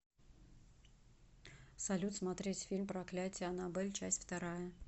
салют смотреть фильм проклятие аннабель часть вторая